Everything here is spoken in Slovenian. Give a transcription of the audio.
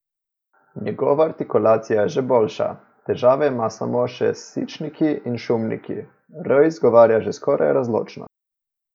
Njegova artikulacija je že boljša, težave ima samo še s sičniki in šumniki, r izgovarja že skoraj razločno.